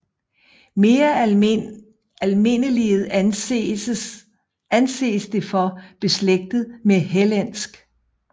Mere almindeliget anses det for beslægtet med hellensk